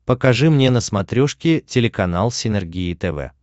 покажи мне на смотрешке телеканал синергия тв